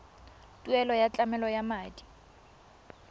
tuelo ya tlamelo ya madi